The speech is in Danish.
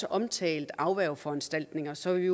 omtalt afværgeforanstaltninger så vi